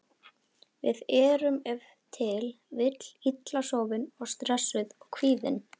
Við erum ef til vill illa sofin, stressuð og kvíðin.